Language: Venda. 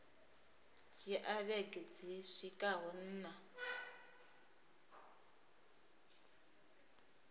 dzhia vhege dzi swikaho nṋa